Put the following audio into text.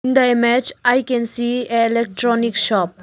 In the image I can see a electronic shop.